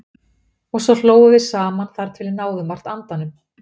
Og svo hlógum við saman þar til við náðum vart andanum.